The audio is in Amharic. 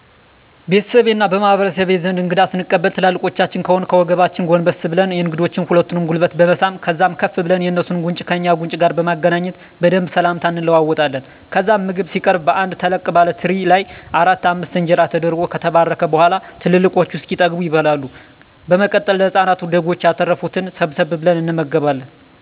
ቤተሰቤ እና በማህበረሰቤ ዘንድ እንግዳ ስንቀበል ትላልቆቻችን ከሆኑ ከወገባችን ጎንበስ ብለን የእንግዶችን ሁለቱንም ጉልበት በመሳም ከዛም ከፍ ብለን የእንሱን ጉንጭ ከእኛ ጉንጭ ጋር በማገናኘት በደንብ ስላምታ እንለዋወጣለን። ከዛም ምግብ ሲቀረብ በአንድ ተለቅ ባለ ትሪ ላይ አራት አምስት እንጀራ ተደርጎ ከተባረከ በኋላ ትላልቆቹ እስኪጠገቡ ይበላል። በመቀጠል ለህፃናቱ ደጎች ያተረፋትን ሰብሰብ ብለን እንመገባለን።